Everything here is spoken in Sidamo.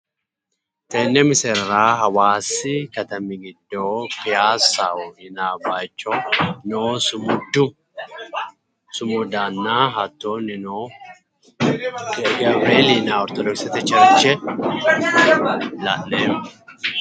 Tene misilera hawaasi kattami gido payissaho yinnayi bayicho noo sumuddanna hatonnino gawureeli yinayi ortodokisete cherche la'neemo